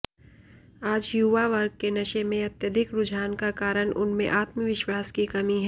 आज युवा वर्ग के नशे मे अत्यधिक रुझान का कारण उनमें आत्मविश्वास की कमी है